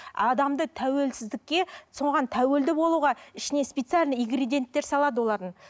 адамды тәуілсіздікке соған тәуелді болуға ішіне специально ингредиенттер салады олардың